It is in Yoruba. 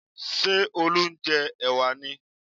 Ṣé Olú ń jẹ ẹ̀wà ni?